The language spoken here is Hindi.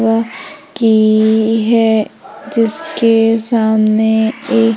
यह की है जिसके सामने एक--